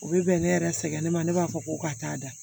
U bɛ bɛn ne yɛrɛ sɛgɛn ne ma ne b'a fɔ ko ka taa da